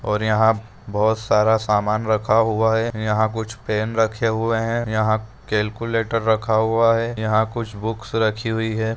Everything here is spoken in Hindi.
और यहा बहुत सारा समान रखा हुआ है यहा कुछ पेन रखे हुए है यहा कैलकुलेटर रखा हुआ है यहा कुछ बुक्स रखी हुई है।